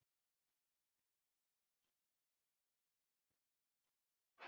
Herinn bjargi þjóðinni